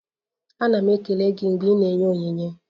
Ana m ekele gị mgbe ị na-enye onyinye.